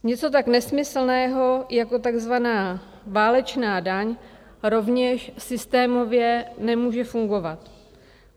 Něco tak nesmyslného, jako tzv. válečná daň rovněž systémově nemůže fungovat.